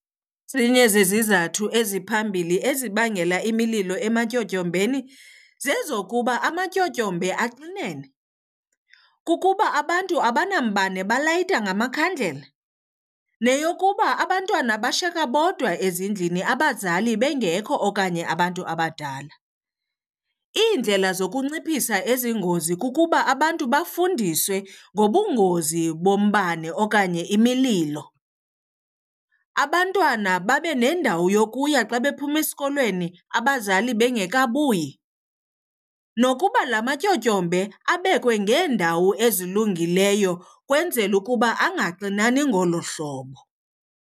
Ezinye zezizathu eziphambili ezibangela imililo ematyotyombeni zezokuba amatyotyombe axinene, kukuba abantu abanambane belayita ngamakhandlela, neyokuba abantwana bashiyeke bodwa ezindlini abazali bengekho okanye abantu abadala. Iindlela zokunciphisa ezi ngozi kukuba abantu bafundiswe ngobungozi bombane okanye imililo, abantwana babe nendawo yokuya xa bephuma esikolweni abazali bengekabuyi, nokuba la matyotyombe abekwe ngeendawo ezilungileyo ukwenzela ukuba angaxinani ngolo hlobo.